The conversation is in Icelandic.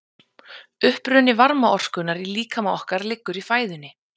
uppruni varmaorkunnar í líkama okkar liggur í fæðunni